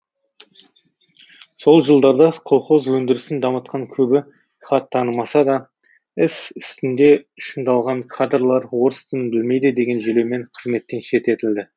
сол жылдарда колхоз өндірісін дамытқан көбі хат танымаса да іс үстінде шыңдалған кадрлар орыс тілін білмейді деген желеумен қызметтен шеттетілді